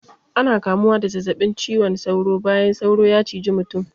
Ana kamuwa da zazzabin ciwon sauro bayan sauro ya ciji mutum.